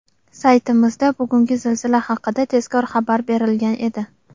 Saytimizda bugungi zilzila haqida tezkor xabar berilgan edi.